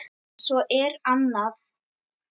Svo er annað.